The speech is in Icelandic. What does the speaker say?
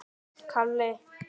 Þetta er engu líkt.